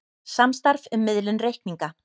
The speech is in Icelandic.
Samstarf um miðlun reikninga